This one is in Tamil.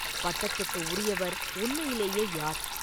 பட்டத்துக்கு உரியவர் உண்மையிலே யார்?